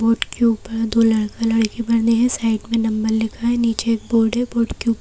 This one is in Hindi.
बोर्ड के ऊपर दो लड़का लड़की बने हैं साइड में नंबर लिखा है नीचे एक बोर्ड है बोर्ड के ऊपर--